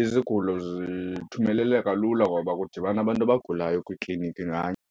izigulo zithumeleleka lula ngoba kudibana abantu abagulayo kwikliniki nganye.